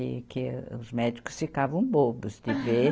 E que os médicos ficavam bobos de ver.